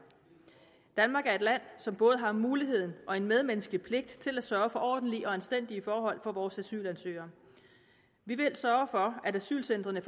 danmark er et land som både har muligheden og en medmenneskelig pligt til at sørge for ordentlige og anstændige forhold for vores asylansøgere vi vil sørge for at asylcentrene